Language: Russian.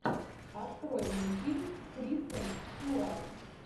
открой мне фильм с кристен стюарт